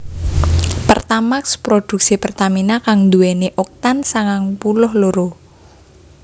Pertamax produksi Pertamina kang nduwèni Oktan sangang puluh loro